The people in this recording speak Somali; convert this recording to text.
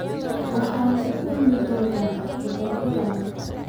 waxaan ku kulmi doonaa dabaaldega maanta